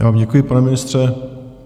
Já vám děkuji, pane ministře.